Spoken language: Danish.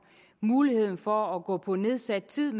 mulighed for at gå på nedsat tid